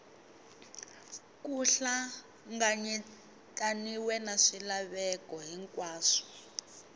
ku hlanganyetaniwe na swilaveko hinkwaswo